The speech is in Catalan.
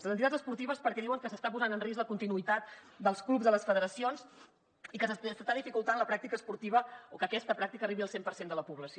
les entitats esportives perquè diuen que s’està posant en risc la continuïtat dels clubs de les federacions i que s’està dificultant la pràctica esportiva o que aquesta pràctica arribi al cent per cent de la població